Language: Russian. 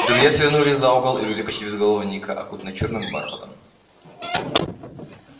друзья свернули за угол и увидели почти безголового ника окутанного чёрным бархатом